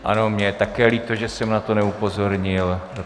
Ano, mně je také líto, že jsem na to neupozornil.